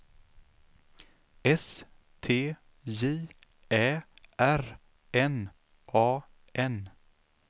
S T J Ä R N A N